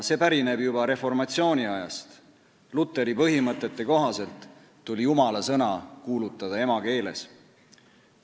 See pärineb juba reformatsiooniajast – Lutheri põhimõtete kohaselt tuli jumalasõna kuulutada emakeeles.